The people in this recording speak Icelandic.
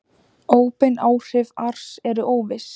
Óbein áhrif ars eru óviss.